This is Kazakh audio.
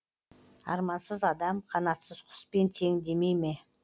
армансыз адам қанатсыз құспен тең демейме